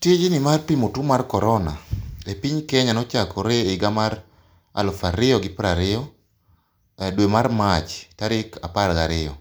Tijni mar pimo two mar korona e piny Kenya nochakre e higa mar alufu ariyo gi piero ariyo edwe mar March tarik apar gariyo.